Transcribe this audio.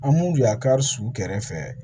An mun bi y'a kari su kɛrɛfɛ